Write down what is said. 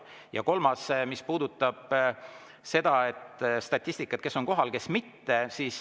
Ja kolmas, mis puudutab seda statistikat, kes on kohal ja kes mitte.